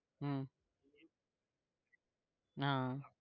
હમ હા